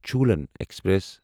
Cholan express